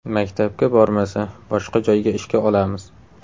Maktabga bormasa, boshqa joyga ishga olamiz.